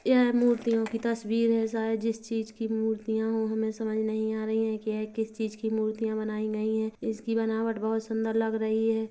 यह मूर्तियों की तस्वीर है सायद जिस चीज की मूर्तियां हैं वो हमें समझ नहीं आ रही है की यह किस चीज की मूर्तियां बनाई गई हैं इसकी बनावट बोहोत सुन्दर लग रही है।